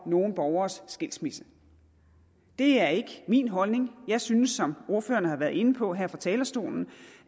nogle borgeres skilsmisse det er ikke min holdning jeg synes som ordførerne har været inde på her fra talerstolen